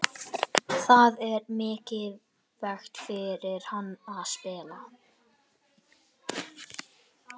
Það er mikilvægt fyrir hann að spila.